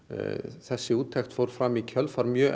þessi úttekt fór fram í kjölfar mjög